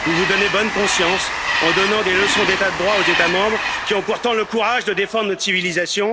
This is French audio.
Vous vous donnez bonne conscience en donnant des leçons d'état de droit aux États membres qui ont pourtant le courage de défendre une civilisation.